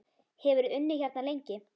Hefurðu unnið hérna lengi?